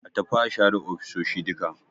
A tafi a share ofisoshi duka